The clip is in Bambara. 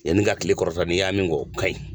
Yanni ka tile kɔrɔta n i y'a min kɛ o ka ɲi.